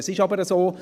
Es ist aber so: